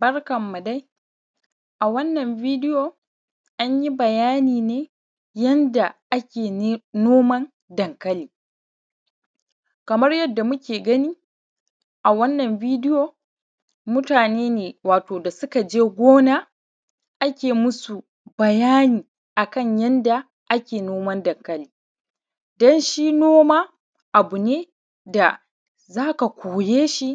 Barkanmu dai. A wannan bidiyo anyi bayani ne akan yadda ake noman dankali. Kamar yadda muke gani a wannan bidiyo mutaane ne wato da suka je gona ake masu bayani akan yanda ake noman dankali, don shi noma abu ne da za ka koye shi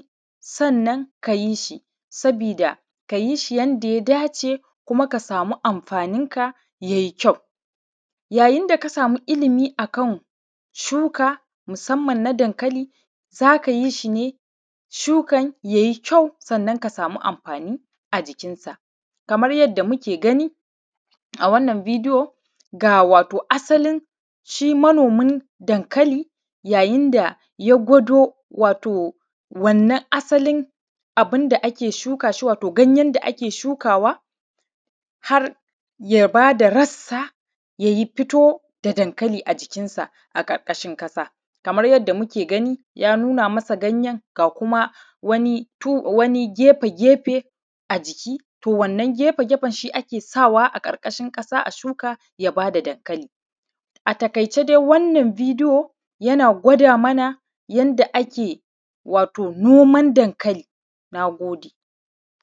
sannan kayi shi, sabiida ka yi shi yanda ya dace kuma ka samu amfaanin ka yayi kyau. yayin da ka samu ilimi akan shuka musamman na dankali za ka yi shi ne shukan yayi kyau sannan ka sami amfaani ajikin sa, kamar yadda muke gani a wannan bidiyo ga wato asalin shi manomin dankali yayin da gwado wannan asalin abin da ake shuka shi wato hanyen da ake shukawa har ya baada rassa yayi fito da dankali a jikinsa a ƙarƙashin ƙasa kamar yanda muke gani ya nuna masa ganyen ga kuma wani gefe-gefe a jiki to wannan gefe-gefen shi ake sawa a ƙarƙashin ƙasa a shuka ya baa da dankali. A taƙaice dai wannan bidiyo yana gwada mana yanda ake wato noman dankali, naagode.